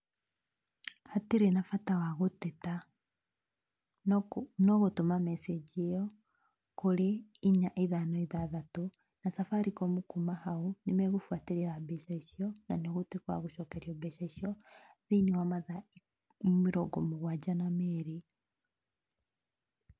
Hatirĩ na bata wa gũteta, no gũtũma message ĩyo kũrĩ inya ithano ithathatũ na Safaricom kuma hau nĩ megũbuatĩrĩra mbeca icio na nĩ ũgũtuĩka wa gũcokerio mbeca icio thĩiniĩ wa mathaa mĩrongo mũgwanja na merĩ.